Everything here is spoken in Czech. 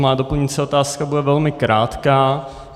Má doplňující otázka bude velmi krátká.